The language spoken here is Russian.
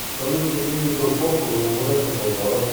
салют каким видом спорта занимается базаров